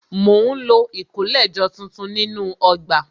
Mo ń lo ìkólẹ̀jọ tuntun nínú ọgbà